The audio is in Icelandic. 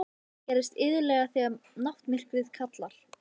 Það gerist iðulega þegar náttmyrkrið kallar.